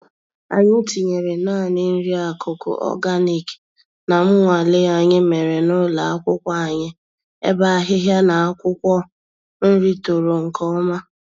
Anyị tinyere nanị nri-akụkụ ọganik na mnwale anyị mèrè n'ụlọ akwụkwọ anyị, ebe ahịhịa na akwụkwọ nri toro nke ọma